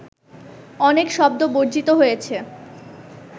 অনেক শব্দ বর্জিত হয়েছে